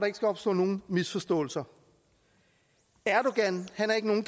ikke skal opstå nogen misforståelser erdogan er ikke nogen